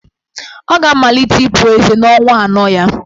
Ọ ga-amalite ịpu ezé n'ọnwa anọ ya.